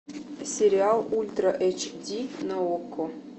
сериал ультра эйч ди на окко